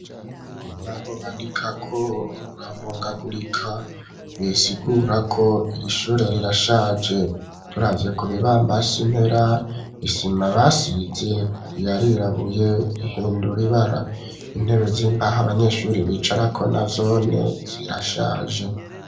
Urubaho bandika ko ruravungagurika bisigura ko ir'ishure rirashaje turavye kubibamba simpera isima basize yarirabuye rihindura ibara, intebe z'imbaha abanyeshuri bicarako nazone zirashaje.